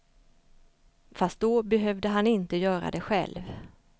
Fast då behövde han inte göra det själv.